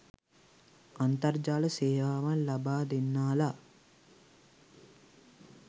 අන්තර්ජාල සේවාවන් ලබාදෙන්නා ලා